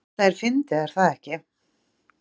Þetta er fyndið, er það ekki?